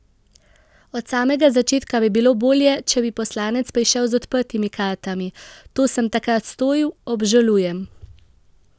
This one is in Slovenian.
Od samega začetka bi bilo bolje, če bi poslanec prišel z odprtimi kartami: 'To sem takrat storil, obžalujem'.